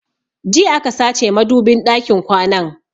Jiya aka sace madubin ɗakin kwanan